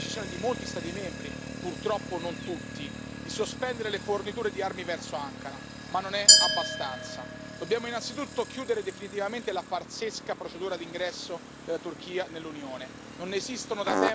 Ben venga quindi la decisione di molti Stati membri, purtroppo non tutti, di sospendere le forniture di armi verso Ankara, ma non è abbastanza, dobbiamo innanzitutto chiudere definitivamente la farsesca procedura d'ingresso della Turchia nell'Unione.